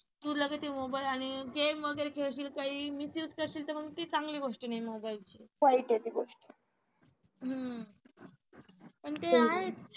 तू लगेच हे मोबाईल आणि game वगैरे खेळशील काही misuse करशील तर मग ती चांगली गोष्ट नाही मोबाईलची वाईट आहे ती गोष्ट पण ते आहे